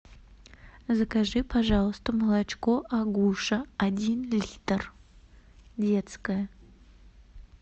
закажи пожалуйста молочко агуша один литр детское